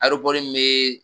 Aropɔri mee